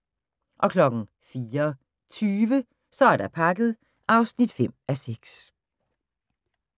04:20: Så er der pakket (5:6)